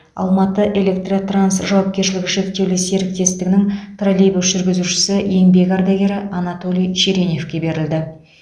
алматыэлектротранс жауапкершілігі шектеулі серіктестігі троллейбус жүргізушісі еңбек ардагері анатолий череневке берілді